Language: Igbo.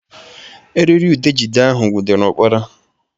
Erịrịudegịde ahụ nwụdere ụkpana